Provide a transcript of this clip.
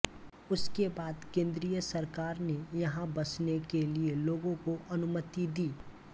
उसके बाद केंद्रीय सरकार ने यहाँ बसने के लिये लोगों को अनुमति दी